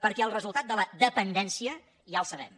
perquè el resultat de la dependència ja el sabem